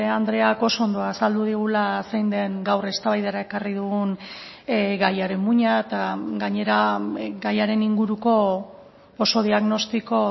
andreak oso ondo azaldu digula zein den gaur eztabaidara ekarri dugun gaiaren muina eta gainera gaiaren inguruko oso diagnostiko